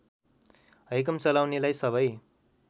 हैकम चलाउनेलाई सबै